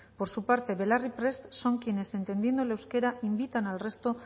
por su parte belarri prest son quienes entendiendo el euskera invitan al resto